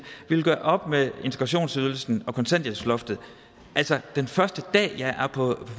vi vil gøre op med integrationsydelsen og kontanthjælpsloftet den første dag jeg er